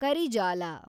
ಕರಿಜಾಲ